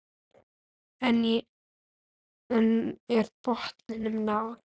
En er botninum náð?